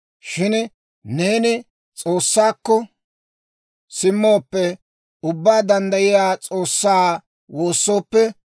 Shin neeni S'oossaakko simmooppe, Ubbaa Danddayiyaa S'oossaa woossooppe,